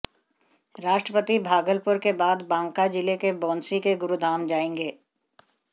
राष्ट्रपति भागलपुर के बाद बांका जिले के बौंसी के गुरुधाम जाएंगे